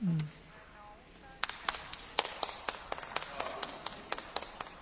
Ano, někteří dostali slovo dvakrát, ale ne v jednom bodě.